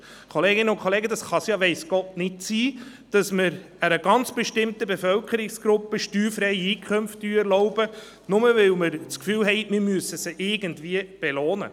Kolleginnen und Kollegen, es kann ja weiss Gott nicht sein, dass man einer ganz besonderen Bevölkerungsgruppe steuerfreie Einkünfte erlaubt, bloss weil wir meinen, wir müssten sie irgendwie belohnen.